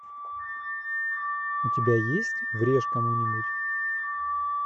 у тебя есть врежь кому нибудь